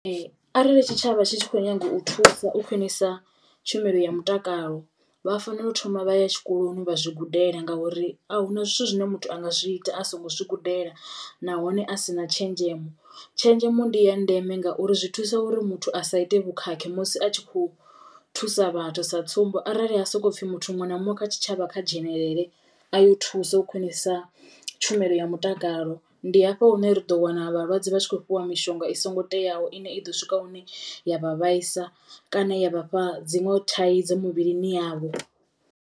Arali tshitshavha tshi tshi kho nyago u thusa u khwinisa tshumelo ya mutakalo vha fanela u thoma vha ya tshikoloni vha zwi gudela ngauri a huna zwithu zwine muthu anga zwi ita a songo zwi gudela nahone a sina tshenzhemo. Tshenzhemo ndi ya ndeme ngauri zwi thusa uri muthu a sa ite vhukhakhi musi a tshi khou thusa vhathu sa tsumbo, arali ha soko pfhi muthu muṅwe na muṅwe kha tshitshavha kha dzhenelele a yo thusa u khwiṋisa tshumelo ya mutakalo ndi hafha hune ri ḓo wana vhalwadze vha tshi kho fhiwa mishonga i songo teaho ine i ḓo swika hune ya vha vhaisa kana ya vhafha dziṅwe thaidzo mivhilini yavho.